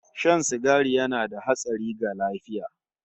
Shan sigari yana da hatsari ga lafiya